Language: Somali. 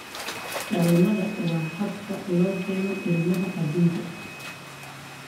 Dhalmada waa habka loo keeno ilmaha aduunka.